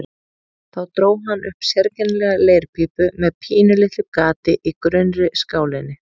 Þá dró hann upp sérkennilega leirpípu með pínulitlu gati í grunnri skálinni.